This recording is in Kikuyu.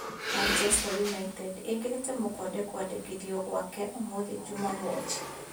Manchester Yunaitedi ĩkĩrĩte mũkonde kwandĩkithio gwake ũmũthĩ Jumamothi.